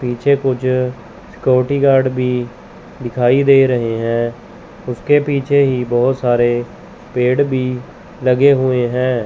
पीछे कुछ security guard भी दिखाई दे रहे हैं उसके पीछे ही बहोत सारे पेड़ भी लगे हुए हैं।